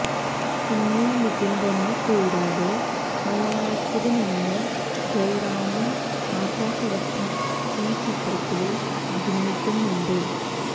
ഉണ്ണി മുകുന്ദനെ കൂടാതെ മലയാളത്തില് നിന്ന് ജയറാമും ആശ ശരത്തും ഈ ചിത്രത്തില് അഭിനയിക്കുന്നുണ്ട്